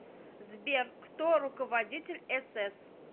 сбер кто руководитель эсэс